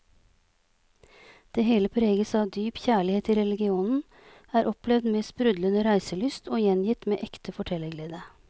Det hele preges av dyp kjærlighet til regionen, er opplevd med sprudlende reiselyst og gjengitt med ekte fortellerglede.